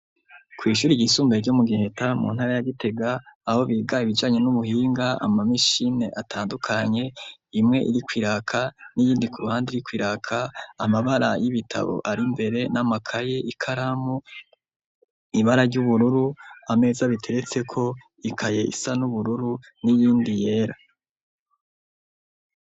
Kw'ishure ryisumbuye ryo mu Giheta, mu ntara ya Gitega, aho biga ibijanye n'ubuhinga, ama mashini atandukanye, imwe iriko iraka n'iyindi ku ruhande iriko iraka, amabara y'ibitabo ari mbere n'amakaye, ikaramu, ibara ry'ubururu ama meza biteretseko, ikaye isa n'ubururu n'iyindi yera.